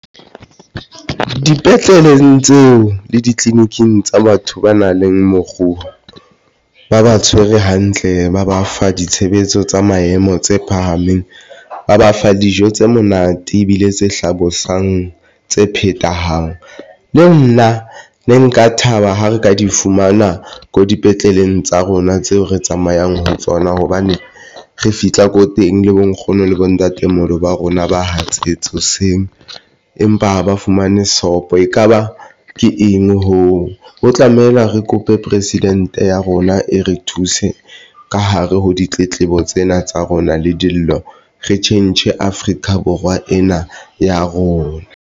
Dipetleleng tseo le ditleliniking tsa batho ba nang le mokgubu, ba ba tshwere hantle, ba ba fa ditshebetso tsa maemo tse phahameng, ba ba fa dijo tse monate ebile tse hlabosang tse phethahaleng. Le nna ne nka thaba ha re ka di fumana ko dipetleleng tsa rona tseo re tsamayang ho tsona hobane re fihla ko teng le bo nkgono le bo ntatemoholo ba rona ba hatsetse hoseng ebe empa ba fumane sopho. Ekaba ke eng hoo ho tlamehile re kope president ya rona e re thuse ka hare ho ditletlebo tsena tsa rona le dilo re tjhentjhe Afrika Borwa ena ya rona.